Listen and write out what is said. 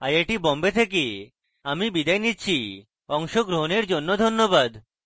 I I T Bombay থেকে আমি বিদায় নিচ্ছি অংশগ্রহণের জন্য ধন্যবাদ